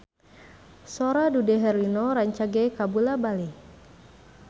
Sora Dude Herlino rancage kabula-bale